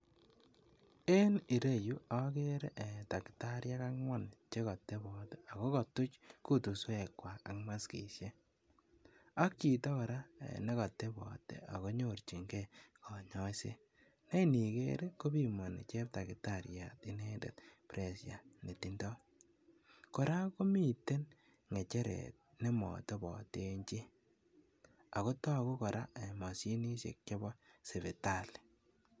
En ireyu agere daktariek angwan chegotobot agokatuch kutuswek kwakak maskisiek ak chito kora negotobot ee agonyorchinge konyoiset neniger kobimani cheptagitariat inendet ''[pressure]'' netindo. Kora komiten ngecheret nematoboten chi, ago tagu kora mashinisiek chebo sipitali